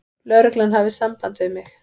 Lögreglan hafði samband við mig.